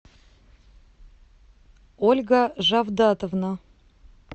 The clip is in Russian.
ольга жавдатовна